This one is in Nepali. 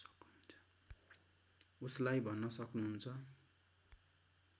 उसलाई भन्न सक्नुहुन्छ